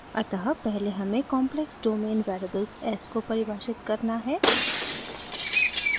अतः पहले हमें complex domain variable s को परिभाषित करना है